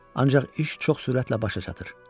Ancaq iş çox sürətlə başa çatır.